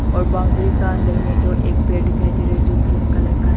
और बाउंड्री का अंदर में जो एक पेड़ दिखाई दे रहा है जो ग्रीन कलर का है।